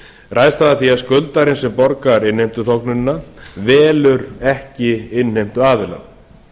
ræðst það af því að skuldarinn sem borgar innheimtuþóknunina velur ekki innheimtuaðila